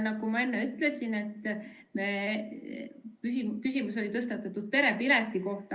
Nagu ma enne ütlesin, siis küsimus oli tõstatatud perepileti kohta.